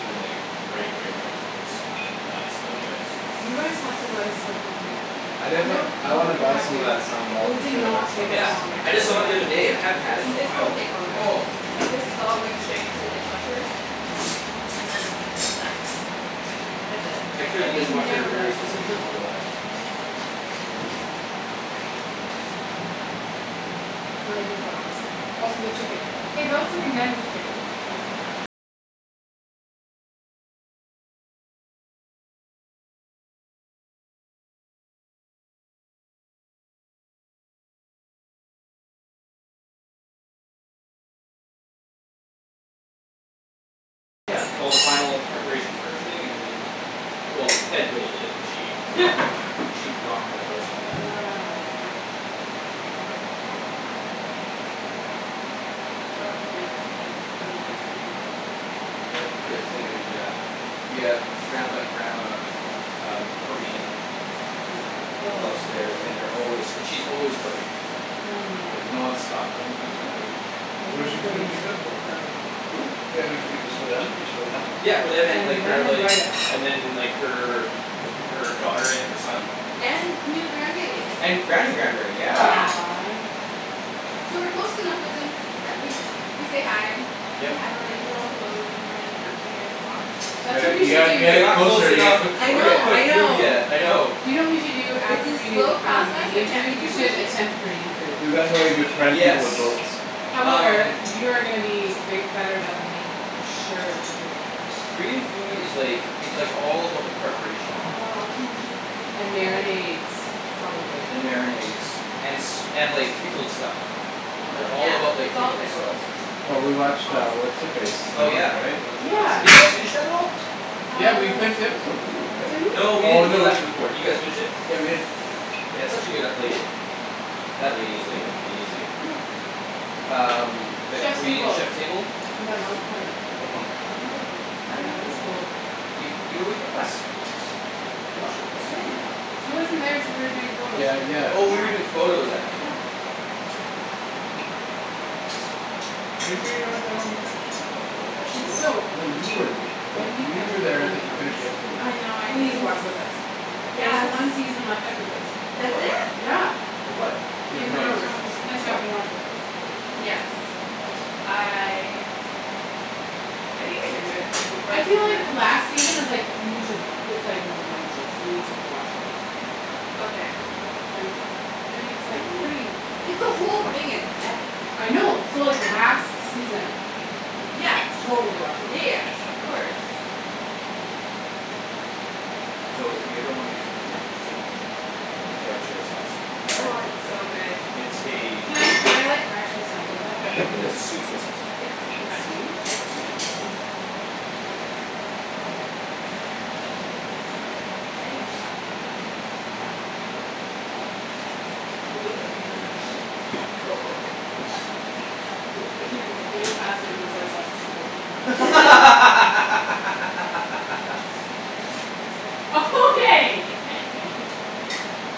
them like, right right right. It's nuts. Those guys You guys have to go let us help you clean up. I definitely, No. I wanna You buy have some of to. that sambal We for did sure. That not stuff take is this my Yeah. long I the just saw it the favorite. other day. I hadn't had it in a sandwiches. This while. won't take long. Oh. Yeah. Like this is all going straight into the dishwasher, and then it's done. That's it. I clear Yeah the but you dishwasher never let very us clean up. specifically for that. Wow. Yeah. I left the knife upstairs. I mean she's cooking gr- good, good Good food. food, yeah. We have Grampa and Grandma um, Korean Yes. people Oh upstairs and they're s- always, and she's always cooking. oh Like man. nonstop cooking, Mhm. that lady. Those Who are does she, people who you does she need to cook for? befriend. Who? Yeah does she cook just for them, Yeah. just for the couple? Yeah for them and And like, then her like, invite us. and then like her, her daughter and her son. And new grandbaby. And Granny grand berry, yeah. Yeah. Aw. So we're close enough with them that we, we say hi. We Yep. have our like, little hellos in the morning and afternoon walks. You That's what got- we you should gotta, you gotta do. We're get not close closer to get enough to cooked I for get know, you. I cooked food know. yet, I know. Do you know what we should do It's after a we do slow um, process. I Indian can't food? be We too should pushy. attempt Korean food. That's exactly why you befriend people with Yes. boats. However, Um. you are gonna be bi- better than th- me. For sure for sure for sure. Korean food is like, it's like all about the preparation. Oh, kimchi And pancakes. marinades, probably. And marinades. And s- and like pickled stuff. They Yeah, all about Oh. like it's all pickled pickles. stuff. Well It's we watched uh, awesome. what's her face? Oh yeah. Yeah. Did you guys finish that at all? Yeah we Uh finished the episode with you, right? Didn't No we? we Oh didn't, we no. left before. Did you guys finish it? Yeah we did. Yeah it's such a good ep- like that lady is like, amazing. Who? Um, that Chef's Korean Table. Chef Table. And the monk woman. With the monk. Oh. I Yeah, dunno that if I was watched cool. that one. You, you were with us. You watched it with us. When? She wasn't there. She wa- you were doing photos. Yeah, Yeah. yeah. Oh you were doing photos that night. No. Right right right right right. I forgot about that. Are you sure you weren't there when we finished that? I thought I thought she you were. was. So. I thought you were th- I thought When you you catch were up there. with I Game of thought you finished Thrones the episode with us. I know. Please watch with us. I There's Yes! one season left after this. Of That's what? it? Yeah! Of what? Game Game of Game of of Thrones. Thrones. Thrones. You should catch up and Oh. watch with us. Yes. I I think I can do it before I the feel season like ends. last season is like, you need to w- it's like momentous. You need to watch it with some people. Okay. Don't you think? I mean it's I like, don't know. pretty Like the whole thing is epic. I know. So like last season Yes. Totally watch it with Yeah us. yes, of course. So if you ever wanna get something very interesting Get Yeah? dark soy sauce. Oh Dark? it's so good. It's a Can I, can I like actually sample that? Yeah. Can you It's a sweet soy sauce. It's like It's crack. sweet? Yeah, it's sweet. It's addicting. Oh my goodness. I need to stop using the term "It's like crack". Oh, no. I'm very Shh excited. That came way faster than soy sauce is supposed to come out. Okay!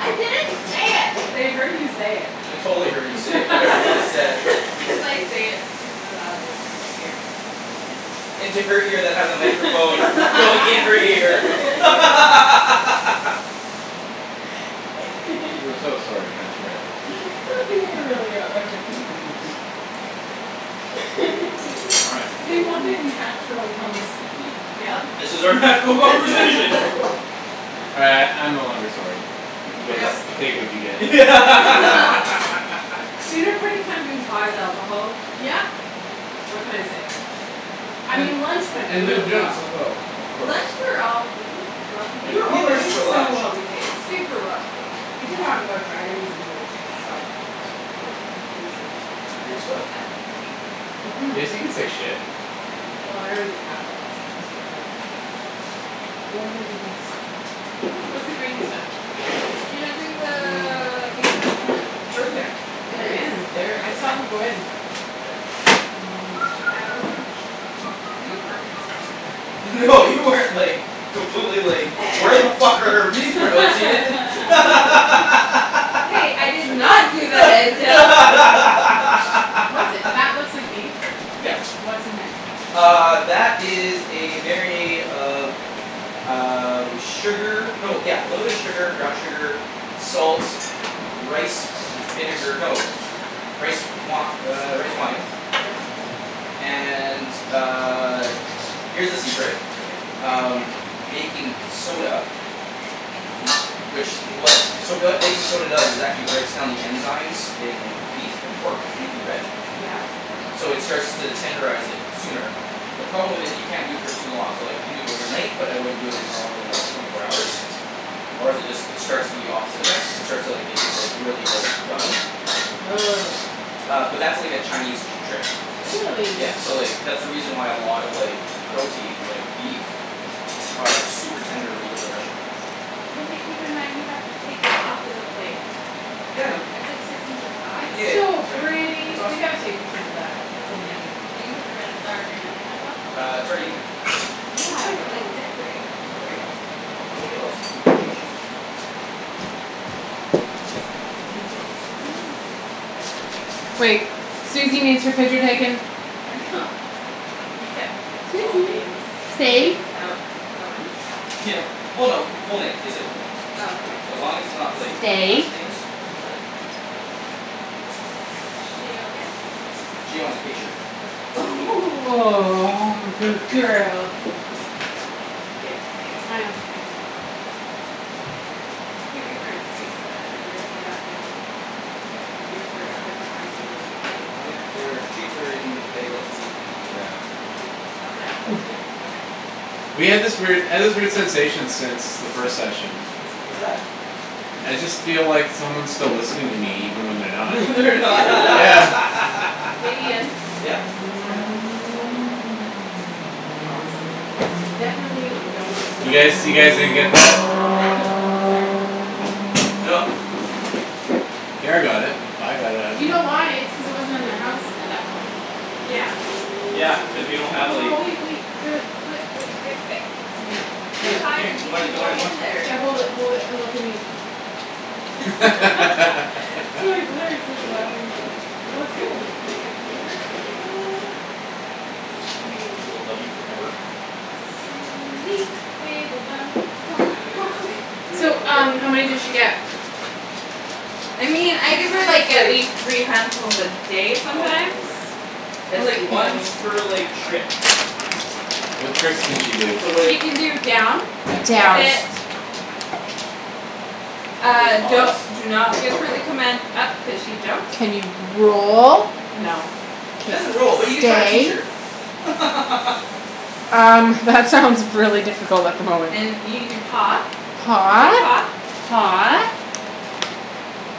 I didn't say it! They heard you say it. They totally heard you say it, whatever you just said. As I say it super loud into your ear. I like it. Into her ear that has a microphone going in her ear. We're so sorry, transcribers. We really are. All right. We want natural conversation. Yep. This is our natural Yeah. conversation. Uh I'm no longer sorry. You guys No. take what you get. Dinner party kind of implies alcohol. Yep! What can I say? I mean lunch went And loo really well. as well, of course. Lunch we were all really well We behaved. were We well were behaved for so lunch. well behaved. Super well behaved. We did talk about dragons and weird shi- stuff. Wait, can you say Weird stuff? Mhm. Yes you can say "shit". Well I already have lots of times, so good. I mean Oh my goodness. What's the green stuff? You're not doing the Mmm. beef? It's right in there. It They're is? in there. I saw them go in. Oh my I wasn't gosh. super concerned or anything. No you weren't like, completely like, "Where the fuck are our bean sprouts, Ian?" Hey, I did not do What's that looks like beef. Yep. Yeah. What's in there? Uh, that is a marinade of um, sugar. No yeah, little bit of sugar, brown sugar, salts, rice with s- vinegar. No. Rice wi- er, rice wine Yep. And uh, here's the secret. Yep. Um, baking soda. Which w- so Ooh. what baking soda does is actually breaks down the enzymes in beef and pork, anything red. Yeah. So it starts to tenderize it sooner. The problem with it, you can't do it for too long. So like you can do it overnight but I wouldn't it more than like twenty four hours, or is it d- it starts to do the opposite effect. It starts to like, make it like, really like, gummy. Ugh. Uh but that's like a Chinese t- trick. Really? Yeah. So like, that's the reason why a lot of like proteins, like beef, are super tender when you go to the restaurant. Okay keep in mind we have to take that off of the plate. Yeah I know. It's like six inches high. It's Yeah, so that's right. pretty! It's We awesome. gotta take pictures of that. That's Yeah. amazing. Are you gonna put the red, uh green onion on top? Uh, it's already in there. Where's Yeah, my but like phone? decorate it. Okay fine, I'll make it all spoof and chichi. I know. Wait, Suzy needs her picture taken. we kept all Suzy, names and stay. things out at lunch? Yeah. Well no, it- full names. They said full names. Oh okay. So as long as it's not like, Stay. last names. She okay? She wants a picture. Aw, good girl. K, smile. You could give her a treat so that her ears get up and, her ears perk up and her eyes get really wide. Oh yeah. They're, treats are in the bag that's in the, uh In the In the closet? closet, yep. Okay. We had this weird, I had this weird sensation since the first session. What's that? I just feel like someone's still listening to me even when they're not. They're Yeah. Hey Ian? n- Yep? Smile. Awesome. Definitely don't look. You guys, you guys didn't get that? Ah! Sorry. No. Kara got it. With, I got it, I You don't know. know why? It's cuz it wasn't in their house at that point. Yeah. Yeah, cuz we don't have Oh, like- wait wait, I got it. Wai- oh. Yep, Here, Too here, good. high to here. g- Do g- I, do go I in there. Yeah. Hold it hold it, and look at me. laughing. Well it's good. Do you wanna give them to her? Yes, I do. She will love you forever. Yes. Suzy, wiggle bum. Go, go go Suzy, go. So wiggle um, bum. how many Go does get she 'em. get? I mean, I give her, Usually it's like, at like least three handfuls a day Oh, my sometimes. word. It's, like, once per, like, trick. What tricks can she do? So like, She can do down, and Down. sit. pause. She can do a Ah, don't, pause. do not give her the command "up" cuz she jumps. Can you roll? No. She K. doesn't roll, but you can try and teach Stay? her. Um, that sounds really difficult at the moment. And you can do paw, Paw. shake paw. Paw.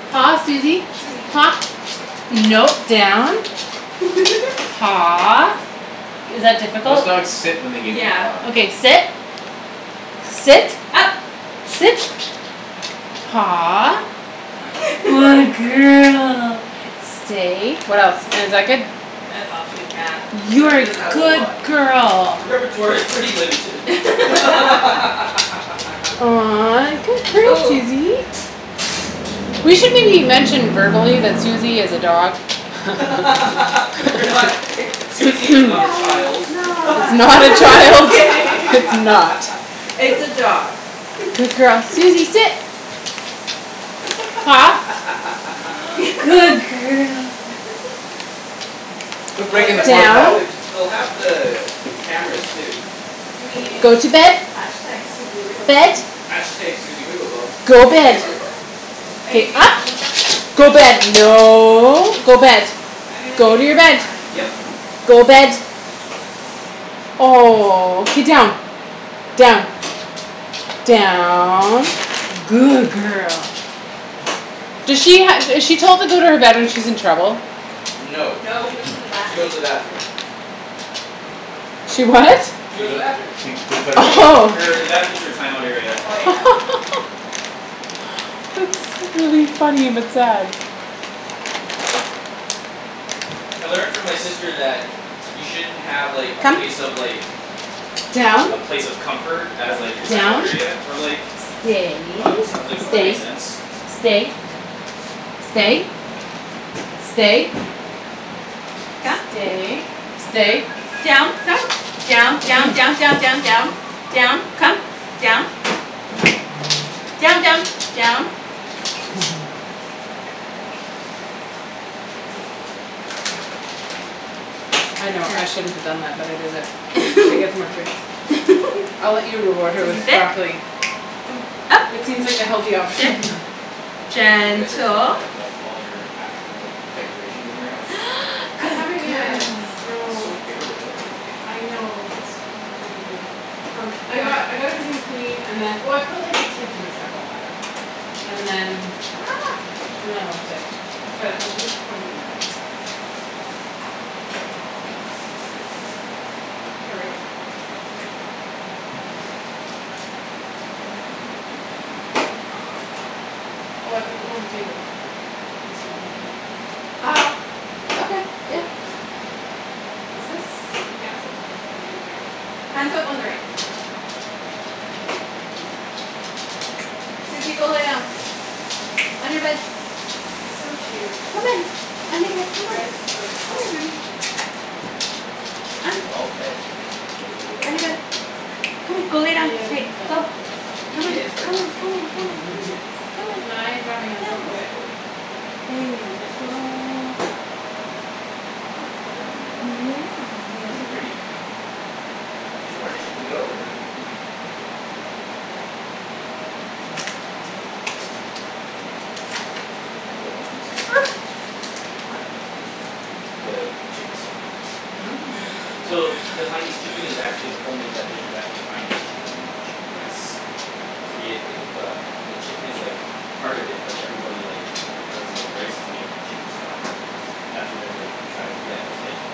Paw, Susie. Susie. Paw, no, down. Paw. Is that Most difficult? dogs sit when they give you a Yeah. paw. Okay, sit. Sit. Up. Sit. Paw. Good girl. Stay. What else? And is that good? That's all she's got. Yeah, You're she a doesn't have a whole good lot. girl. Her repertoire is pretty limited. Aw, good girl, Ooh. Susie. We should maybe mention verbally that Susie is a dog. We're not i- Susie is not a Yeah, child. it's It's not. not a Just child; kidding. it's not. It's a dog. Good girl. Susie, sit. Paw, good girl. Quit Well, I breaking the guess they'll fourth Down. have wall. the, they'll have the, the cameras too. I Go mean to bed. Bed. #Susiewigglebomb. #Susiewigglebum. Go bed. Are you K, doing up. all the Go Yep. bed, no, go Mkay, bed. I'm gonna Go take to your bed. one. Yep. Go bed. Oh. K, Down. Down. Down. Good girl. do she ha- is she told to go to her bed when she's in trouble? No, No, she she goes goes to to the bathroom. the bathroom. She what? She She goes to the goe- bathroom. she, they put her in the bathroom. Oh. Her, the bathroom's her timeout area. Oh, yeah. That's really funny but sad. I learned from my sister that you shouldn't have, like, a Come. place of, like Down. a place of comfort as, like, your timeout Down. area for, like Stay. dogs and I was like, "Oh that makes Stay, sense." stay. Stay. Stay. Come. Stay, stay. Down, come. Down. Down, Okay. down, down, down, down. Down. Come. Down. Down, down. Down. I know. I shouldn't have done that, but I did it. She gets more treats. I'll let you reward her with Susie, . sit. Up, It seems like the healthy sit, option. You guys are putting gentle. back up all your actual decorations in your house? I Some Good haven't yet, girl. It's so no. bare without everything. I know. It's really weird. Um, I got, I got everything cleaned and then, oh, I put, like, the kitchen stuff all back. And then And then I left it. But we'll probably do that. Oh, I put them on the table, in case you wanted to know. Ah, I think. okay, yeah. Yeah, I did. Is this hand soap or do you care? Hand soap on the right. Cool. Susie, go lay down. On your bed. She's so cute. Come on, on your bed, You come on, guys chose well. come here, baby. On. It was all Ped. Wasn't me at On your all. bed. Come on, go lay down, Yeah, but hey, you fell in go. love with her. Come on, Yeah, it's hard come on, not to. come on, It come on. really is. Come on. Can I dry my hands go. on this? Oh Okay yeah, totally. There you Yes, yes, please do. go. Good girl. Ooh. Yeah, you're such a Alrighty. good girl. Two more dishes to go, and we're gonna eat. Ooh, I can do some of that in there too. Huh? The chicken stock. Oh, yeah. So the Haianese chicken is actually the whole name of that dish is actually a Haianese chicken and, chicken rice. So the id- id- the, the chicken is like part of it but everybody, like because the rice is made with the chicken stock that's what everybody tries to get is like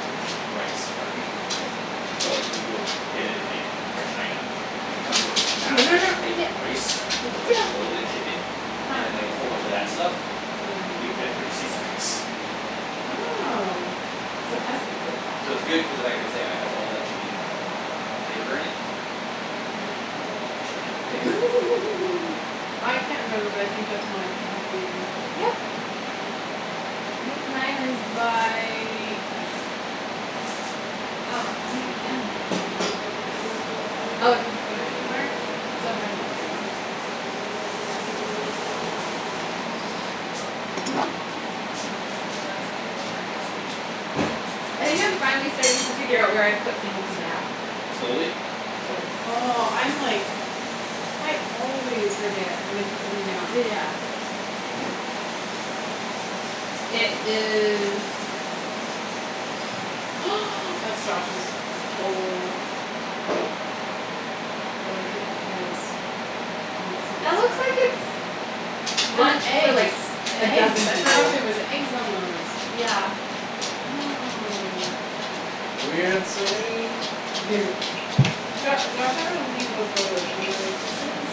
the, the rice part. Sit. So, Sit. like, when you go get it in, like China it comes with this No, massive no, no, plate sit. of rice with like a little bit of chicken Huh. and then, like, a whole bunch of that stuff Yeah. and give, everybody just eats the rice. Oh, so it has to be good. So it's good cuz of the fact it's, yeah, it has all that chicken flavor in it. Yeah, oh, Chickeny flavor. I can't remember but I think that's mine if it has beer in it Yep. I think mine is by Oh, I might be done. Oh, it's Did you put it anywhere? over in the living room. All right, so that's there; that's almost done. And this is all I think I'm finally starting to figure out where I put things down. Slowly? Slowly. Oh, I'm like I always forget when I put something down. Yeah. It is That's Josh's. Oh. I like it because you can see That the looks out. like it's And the one for, eggs. like, The a dozen eggs, I forgot people. there was eggs on those. Yeah. Oh. Jo- Josh, I remember looking at those photos and we're like, "This is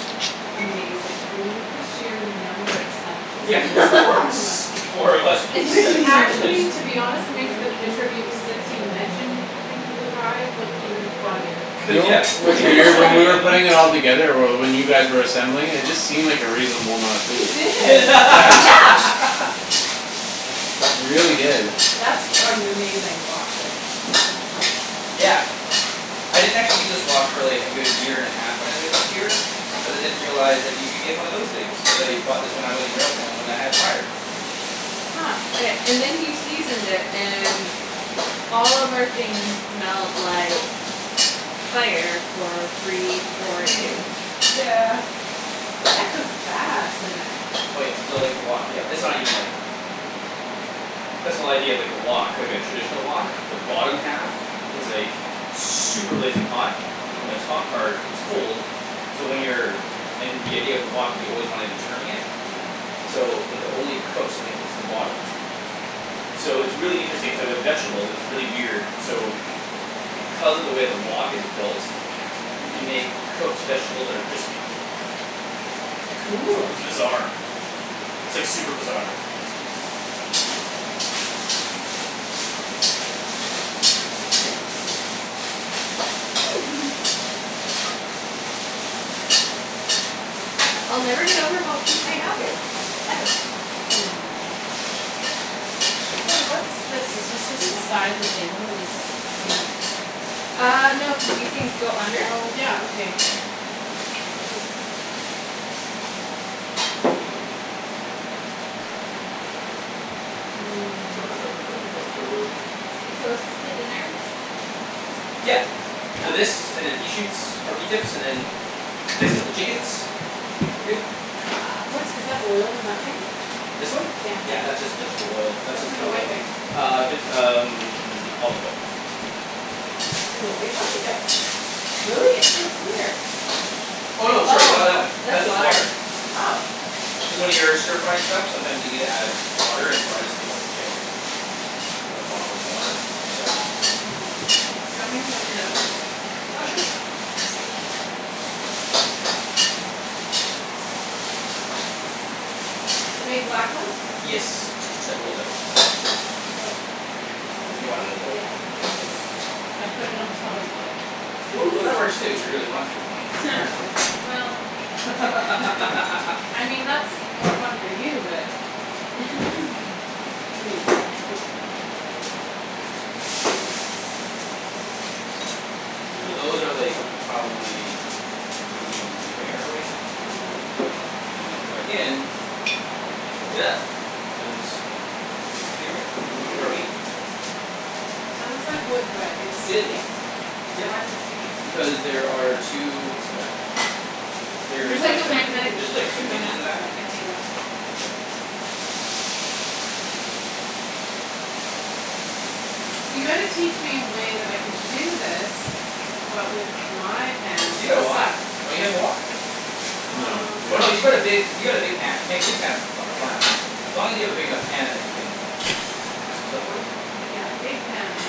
amazing." I mean look at the sheer number of sandwiches, Yeah. and there's four of us. S- four of us with Which seven actually sandwiches. to be honest makes the picture of you since you mentioned that you think you look high look even funnier. Do you Cuz know yeah, what's cuz you have weird, so when we many were of them. putting it all together or well, when you guys were assembling it, it just seemed like a reasonable amount of It food. did. Yeah. Yeah. It really did. That's an amazing wok there. Yeah. I didn't actually use this wok, really, a good year and half when I lived here because I didn't realize that you could get one of those things. Cuz I bought this when I was in Railtown when I had fire. Huh. Okay, and then he seasoned it and all of our things smelled like fire for three, four days. That cooks fast in there. Oh, yeah, so, like, the wok, yeah, this is not even like That's the whole idea of, like, a wok, like, a traditional wok. The bottom half is like super blazing hot Yeah. and the top part is cold so when you're and the idea of the wok is you always wanna be turning it Yep. so it only cooks when it hits the bottom. So it's really interesting, k, with vegetables it's really weird, so because of the way the wok is built you can make cooked vegetables that are crispy. Cool. It's bizarre. It's, like, super bizarre. I'll never get over how cute my dog is, ever. Aw. Hey, what's this? Is this just the side of the table or does it come out? Ah, no, cuz these things go under. Oh, yeah, okay. Yeah. Hmm. We close to dinner? Yeah. So Okay. this, and then pea shoots, or pea tips, and then then I set the chickens and we're good. Ah. What's, is that oil in that thing? This one? Yeah, that's just vegetable oil. That's What's just in the canola white oil. thing? Ah vit- um olive oil. In the white one? Yep. Really? It's so clear. Oh, no, sorry, not Oh, that one. That's that's just water. water. Oh. Cuz when you're stir frying stuff sometimes you need to add water, and so I just keep a thing of a bottle of water on the side. Mm. Do you want me to throw these out? Ah, sure. The big black ones? Yes, K. that rolls out. Oh. There's a If li- you wanna roll it out, Yeah, you can there's a roll it l- out. I put it on top of the lid. Whoops. Well, that works too, if you really want to. Well. I mean, that's more fun for you, but. So those are, like, probably medium rare right now. Mhm. And then when you put it back in and cook it up it becomes basically rare. Or medium, sorry. That looks like wood but it's It is wood, sticking. yep. Why's it sticking? Because there are two hooks in the back. There's There's, like like, a a hi- magnetic There's like strip Cool. two in the hinges in back the of back. it, I think. Yeah. Yeah. So you gotta teach me a way that I can do this but with my pans You got that a wok; suck. don't you have a wok? No, Um. we Oh, don't. no, you've got a big, you got a big pan, pan, big pans is fun, fun. Yeah. As long as you have a big enough pan that you can do some stuff with. Yeah, big pans.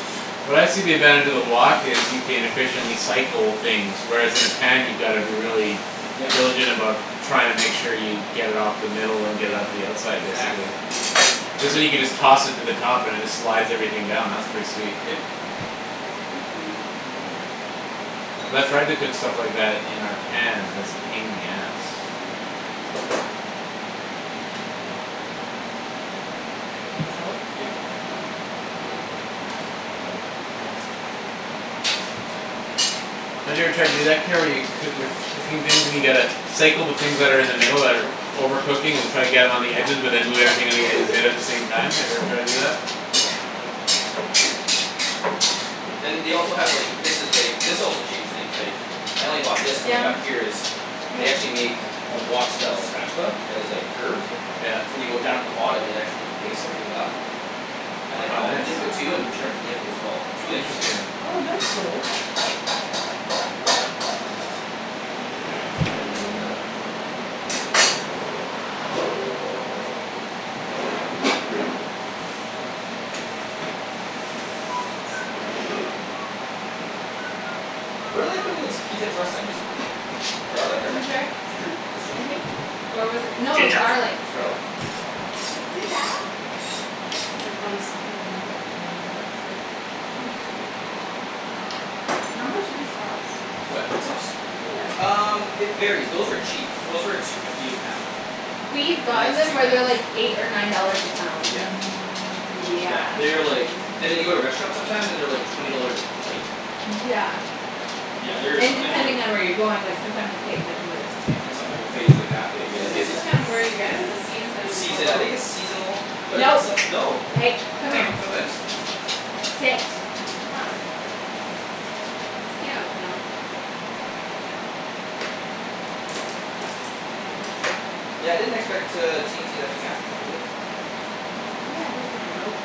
What I see the advantage of the wok is you can efficiently cycle things, whereas in a pan you gotta be really Yeah. diligent about trying to make sure you get it off the middle and get it Yeah, out to the it's outside, exactly basically. what it is. Cuz then you can just toss it to the top and it just slides everything down; that's pretty sweet. Yep. Cuz I've tried to cook stuff like that in our pans and it's a pain in the ass. Salt. Yep. Yeah. Don't you ever try to do that, Kara, where coo- you're cooking things and you gotta cycle the things that are in the middle that are over cooking and try to get them on the edges but then move everything on the edges in at the same time, have you every tried to do that? Then they also have, like, this is like, this also changed things, like I only bought this when I got Down. here is They Hey. actually make a wok style spatula that is, like, Good girl. curved Yeah. so when you go down to the bottom it actually picks everything up and, like, Oh, all the nice. liquid too and turns the liquid as well. It's really interesting. Interesting. Oh, that's cool. All right, so now we steam that out for a bit. Super cool. What did I put in the t- pea tips last time, just garlic or Ginger, nothing? Ginger? Just I ginger? think. Or was it, no, it was Ginja garlic. It was garlic? I honestly can't remember but I remember it was good. I think it was just, maybe it was just garlic. How much do these cost? What, pea tips? Yeah. Um, it varies; those were cheap. Those were two fifty a pound. We've And gotten that's them two where they're, pounds. like, eight or nine dollars a pound. Yeah. Yeah. Yeah, they are like and then you go to restaurants sometimes and they're, like, twenty dollars a plate. Yeah. Yeah, they're And sometimes uh depending on where you're going, like, sometimes the plate's, like, this big. and sometime a plate is like that big you're, Is Is like, it its like this. just just kinda where you get it or the It's season or season, I both? think it's seasonal. But I think No, some, no. hey, I come don't here. know, sometimes. Sit. Huh. Stay out now. Yeah, I didn't expect, uh, T and T to actually have them but they did. That's Yeah, I awesome. thought they were out.